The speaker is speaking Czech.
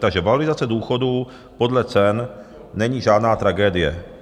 Takže valorizace důchodů podle cen není žádná tragédie.